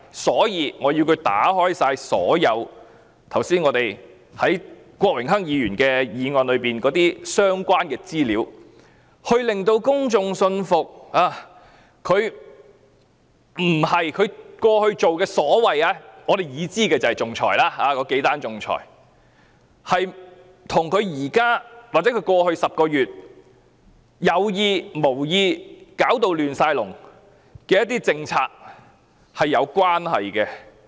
所以，我們要她公開所有郭榮鏗議員議案提及的相關資料，令公眾信服她在我們已知的幾宗仲裁與她現時或過去10個月有意、無意導致一塌糊塗的一些政策是否有關係。